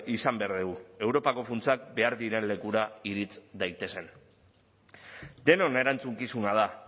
izan behar dugu europako funtsak behar diren lekura irits daitezen denon erantzukizuna da